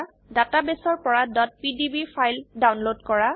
ডাটাবেসৰ পৰা pdb file download কৰা